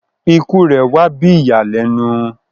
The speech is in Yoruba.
Ikú rẹ wà bí ìyànlènu